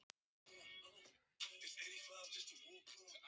Og svo máttu alveg fara úr jakkanum ef þú vilt.